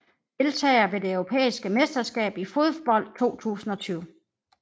Deltagere ved det europæiske mesterskab i fodbold 2020